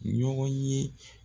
Ɲɔgɔn ye